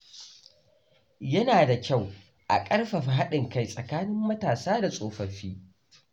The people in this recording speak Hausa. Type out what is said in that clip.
Yana da kyau a ƙarfafa haɗin kai tsakanin matasa da tsofaffi.